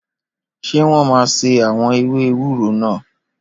Ṣé wọ́n máa ṣe àwọn ewé ewúro náà?